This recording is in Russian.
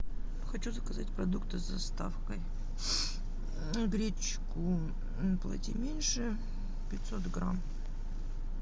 хочу заказать продукты с доставкой гречку плати меньше пятьсот грамм